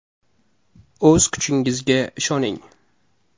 O‘z kuchingizga ishoning!